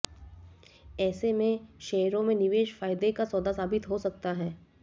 ऐसे में शेयरों में निवेश फायदे का सौदा साबित हो सकता है